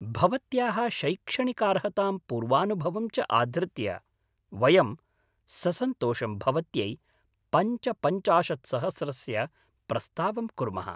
भवत्याः शैक्षणिकार्हतां पूर्वानुभवं च आधृत्य वयं ससन्तोषं भवत्यै पञ्चपञ्चाशत्सहस्रस्य प्रस्तावं कुर्मः।